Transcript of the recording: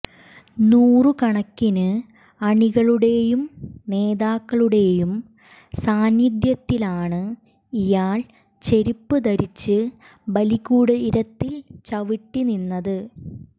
നൂറുകണക്കിന് അണികളുടെയും നേതാക്കളുടെയും സാന്നിധ്യത്തിലാണ് ഇയാൾ ചെരുപ്പ് ധരിച്ച് ബലികൂടീരത്തിൽ ചവിട്ടി നിന്നത്